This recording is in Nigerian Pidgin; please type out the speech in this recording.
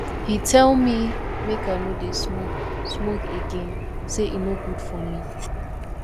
he tell me make i no dey smoke smoke again say e no good for me